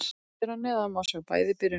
Hér að neðan má sjá bæði byrjunarlið.